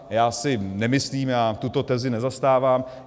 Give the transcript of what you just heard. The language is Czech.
Já si nemyslím, já tuto tezi nezastávám.